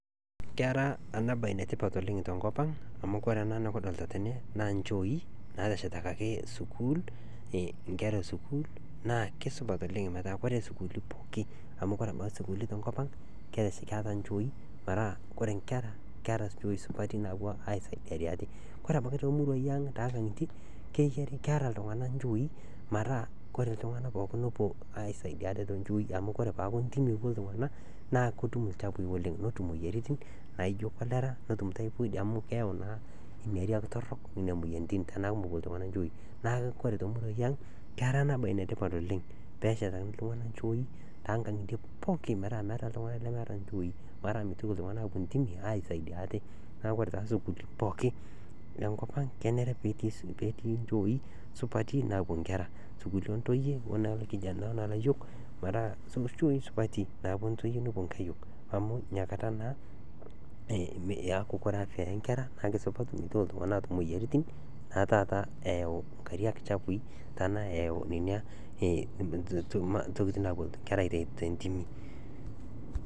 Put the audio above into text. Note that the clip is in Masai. Kera enabae enetipat tenkopang amu ore ena nikidolita tene naa nchoi nateshetakaki inkera esukul naa kisidai oleng amu ore sukuulini poki tenkopang naa keeta nchoi , ore temurua ang naa keeta pookin inchoi metaa ore iltunganak opuo aisadia ate ketum inesaidia ate amu ore teniaku ntimi epuo iltunganak naa ketum imoyiaritin naijo cholera ,netum typhoid amu keyau naa ilchafui .